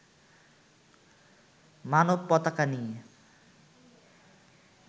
মানব পতাকা নিয়ে